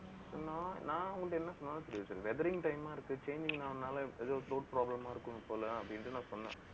hellow நான் அவங்ககிட்ட என்ன சொன்னாலும் தெரியாது sir weathering time ஆ இருக்கு. chain problem ஆ இருக்கும் போல அப்படின்னுட்டு நான் சொன்னேன்